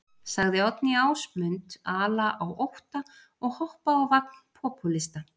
Sagði Oddný Ásmund ala á ótta og hoppa á vagn popúlista.